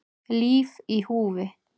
Líf í húfi